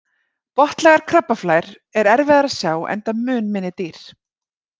Botnlægar krabbaflær er erfiðara að sjá enda mun minni dýr.